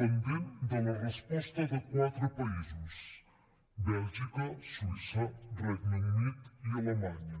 pendent de la resposta de quatre països bèlgica suïssa regne unit i alemanya